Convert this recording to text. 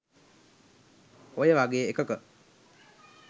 ඔය වගේ එකක